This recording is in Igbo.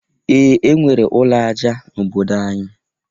Ee! E nwere ụlọ aja n'obodo anyị.